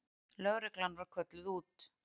Lögreglan var kölluð út.